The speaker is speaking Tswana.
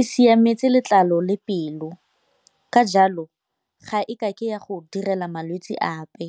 e siametse letlalo le pelo ka jalo ga e kake ya go direla malwetse ape.